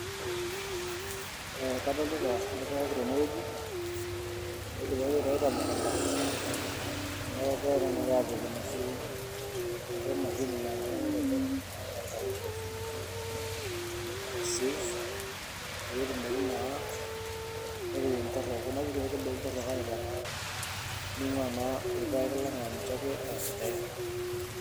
Eeh kadolita irpaek tenewueji oidipaki aitai temukunta niaku kegirae tena kata aapik enoshi enkiti mashini naa ninye naitodolu naa aitai ilchafun ashu ae seize peyie etumoki naa intokiting torrok kuna kuti aitubulu torrok aipang'a ning'ua naa irpaek ang aninche ake asidain.